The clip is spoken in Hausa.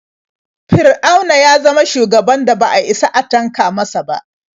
Fir'auna ya zama shugaban da ba a isa a tanka masa ba.